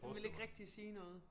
Han ville ikke rigtig sige noget